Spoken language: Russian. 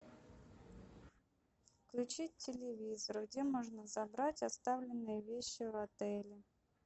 включить телевизор где можно забрать оставленные вещи в отеле